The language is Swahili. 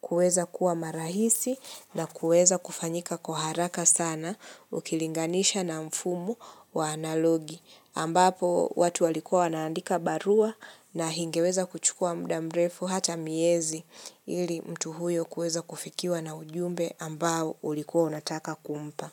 kuweza kuwa marahisi na kuweza kufanyika kwa haraka sana ukilinganisha na mfumu wa analogi. Ambapo watu walikuwa wanaandika barua na ingeweza kuchukua mda mrefu hata miezi ili mtu huyo kuweza kufikiwa na ujumbe ambao ulikuwa unataka kumpa.